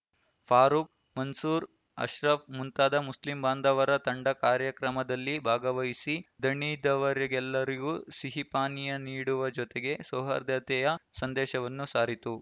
ಫಾರೂಕ್‌ ಮನ್ಸೂರ್‌ ಅಶ್ರಫ್‌ ಮುಂತಾದ ಮುಸ್ಲಿಂ ಬಾಂಧವರ ತಂಡ ಕಾರ್ಯಕ್ರಮದಲ್ಲಿ ಭಾಗವಹಿಸಿ ದಣಿದವರೆಲ್ಲರಿಗೂ ಸಿಹಿ ಪಾನೀಯ ನೀಡುವ ಜೊತೆಗೆ ಸೌಹಾರ್ಧತೆಯ ಸಂದೇಶವನ್ನು ಸಾರಿತು